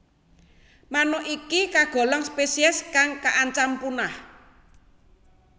Manuk iki kagolong spesies kang kaancam punah